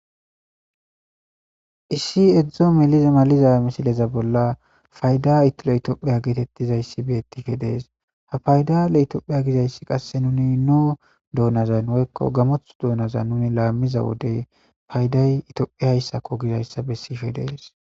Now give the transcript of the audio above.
Issi addo meliza malasiza misileza bolla paydaa le getheththida ethoophphiya geetheththzayssi beeththishe de7ees; ha fayda le ethiyophpiya gizayssi qassi nuni nudoonazan woykko gamoththo doonazan nuuni laammiza wode payday ethoophphiyayissa gizayssakko bessishe de7ees.